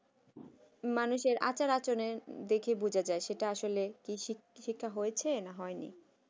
মানুষের আচার-আচরণের দেখেই বোঝা যায় সেটা কি শিক্ষা হয়েছে না হয়নি